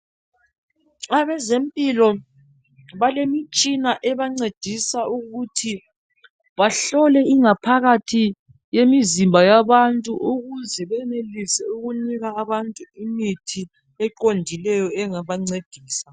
Abezempilo balemitshina ebancedisa ukuthi bahlole ingaphakathi yemizimba yabantu ukuze benelise ukunika abantu imithi eqondileyo engabancedisa.